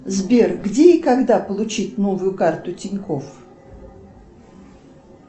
сбер где и когда получить новую карту тинькофф